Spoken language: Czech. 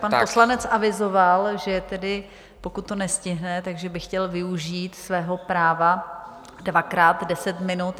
Pan poslanec avizoval, že tedy pokud to nestihne, tak by chtěl využít svého práva dvakrát deset minut.